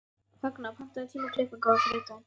Högna, pantaðu tíma í klippingu á þriðjudaginn.